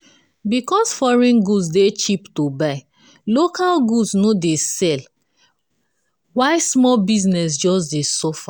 because foreign good dey cheap to buy local goods no dey sell why small business just dey suffer.